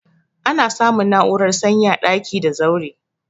Ana samun na'urar sanyi a daki da zaure.